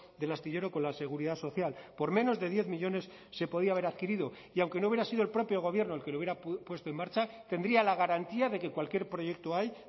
del astillero con la seguridad social por menos de diez millónes se podía haber adquirido y aunque no hubiera sido el propio gobierno el que lo hubiera puesto en marcha tendría la garantía de que cualquier proyecto ahí